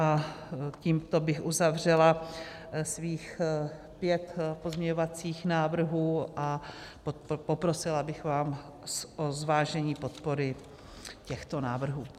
A tímto bych uzavřela svých pět pozměňovacích návrhů a poprosila bych vás o zvážení podpory těchto návrhů.